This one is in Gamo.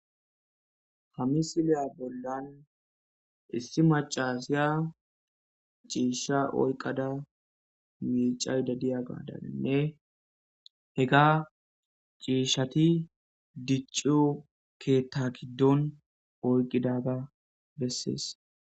Hamisiliya bollan issi macasiya ciisha oyqada miicay dadiya gaadaninne hega ciishshati dicciyo keta giddon oyqqidaga bessees.